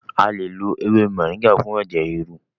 A lè lo ewé moringa fún ẹ̀jẹ̀ ríru.